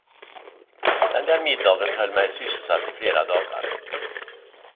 Den där middagen höll mig sysselsatt i flera dagar.